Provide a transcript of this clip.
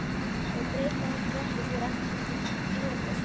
Það breytir heldur ekki því að Ragnhildur hefur